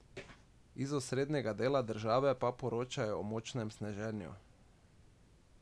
Iz osrednjega dela države pa poročajo o močnem sneženju.